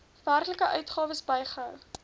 werklike uitgawes bygehou